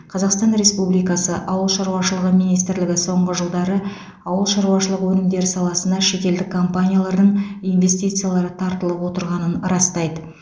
қазақстан республикасы ауыл шаруашылығы министрлігі соңғы жылдары ауыл шаруашылығы өнімдері саласына шетелдік компаниялардың инвестициялары тартылып отырғанын растайды